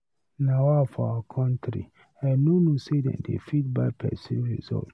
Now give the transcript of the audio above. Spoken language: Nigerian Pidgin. Nawa for our country! I no know say dem they fit buy person result.